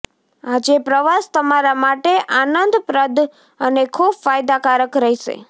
આજે પ્રવાસ તમારા માટે આનંદપ્રદ અને ખૂબ ફાયદાકારક રહેશે